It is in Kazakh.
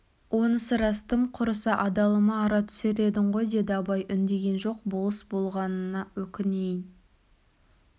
онысы рас тым құрыса адалыма ара түсер едің ғой деді абай үндеген жоқ болыс болмағанына өкінейін